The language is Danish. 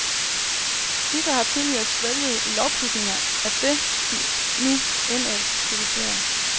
Disse har tidligere svælget i lovprisninger af det, de nu indædt kritiserer.